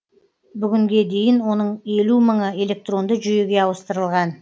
бүгінге дейін оның елу мыңы электронды жүйеге ауыстырылған